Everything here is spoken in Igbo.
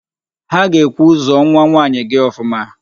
Ha ga-ekwu, "zụọ nwanwaanyị gị ọfụma"!